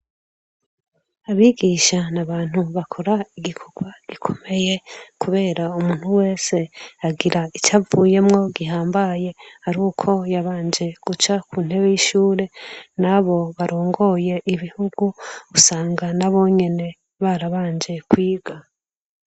Abigisha ni abantu bakora igikorwa gikomeye kubera umuntu wese agira icavuyemwo gihambaye ari uko yabanje guca ku ntebe y'ishure, n'abo barongoye ibihugu usanga nabo nyene barabanje kwiga.